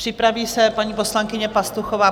Připraví se paní poslankyně Pastuchová.